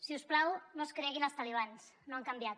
si us plau no es creguin els talibans no han canviat